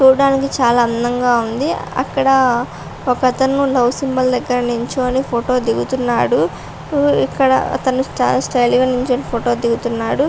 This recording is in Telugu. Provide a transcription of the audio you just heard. చూడటానికి చాలా అందంగా ఉంది అక్కడ ఒకతను లవ్ సింబల్ దగ్గర నించుని ఫోటో దిగుతున్నాడు. ఇక్కడ అతను చాలా స్టైల్ గా నించుని ఫోటో దిగుతున్నాడు.